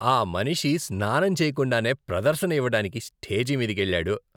ఆ మనిషి స్నానం చేయకుండానే ప్రదర్శన ఇవ్వడానికి స్టేజి మీదికెళ్లాడు.